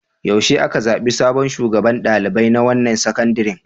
Yaushe aka zaɓi sabon shugaban ɗalibai na wannan sakandaren?